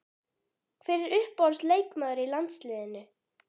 Hver er uppáhalds leikmaður í landsliðinu?